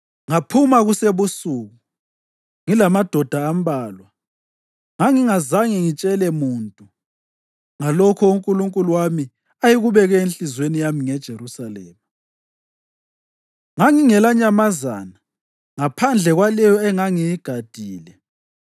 ngaphuma kusebusuku ngilamadoda ambalwa. Ngangingazange ngitshele muntu ngalokho uNkulunkulu wami ayekubeke enhliziyweni yami ngeJerusalema. Ngangingelanyamazana ngaphandle kwaleyo engangiyigadile.